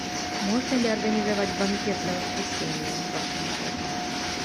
можно ли организовать банкет на воскресенье в вашем отеле